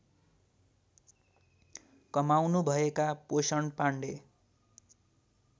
कमाउनुभएका पोषण पाण्डे